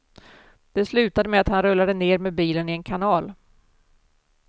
Det slutade med att han rullade ner med bilen i en kanal.